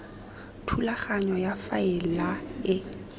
thulaganyo ya go faela e